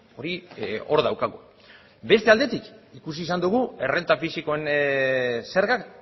hori hor daukagu beste aldetik ikusi izan dugu errenta fisikoen zergak